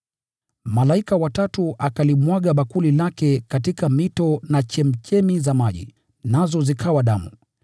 Malaika wa tatu akalimwaga bakuli lake katika mito na chemchemi za maji, nazo zikawa damu.